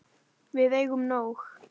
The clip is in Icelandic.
Við eigum nóg.